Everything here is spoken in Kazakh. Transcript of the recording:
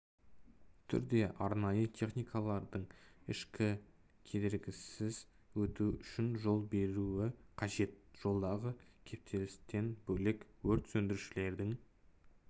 түрде арнайы техникалардың еш кедергісіз өтуі үшін жол беруі қажет жолдағы кептелістен бөлек өрт сөндірушілердің